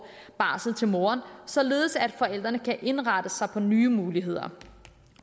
barsel til moren således at forældrene kan indrette sig på nye muligheder